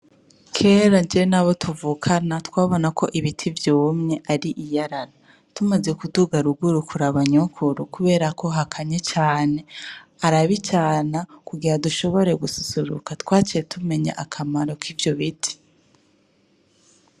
Kera jewe nabo tuvukana twabona ko ibiti vyumye twabona ko ari iyarara. Tumaze kuduga ruguru kuraba nyokuru kubera ko Hakanye cane , arabicana kugira dushoboye gususuruka . Twaciye tumenya akamaro kivyo biti.